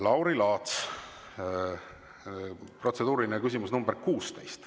Lauri Laats, protseduuriline küsimus nr 16.